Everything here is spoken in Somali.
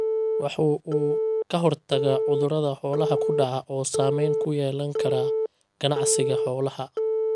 Wuxuu uu ka hortagaa cudurrada xoolaha ku dhaca oo saamayn ku yeelan kara ganacsiga xoolaha.